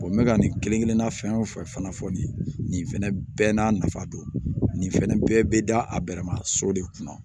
n bɛ ka nin kelen kelenna fɛn o fɛn fana fɔ nin ye nin fɛnɛ bɛɛ n'a nafa don nin fɛnɛ bɛɛ bɛ da a bɛrɛma so de kunna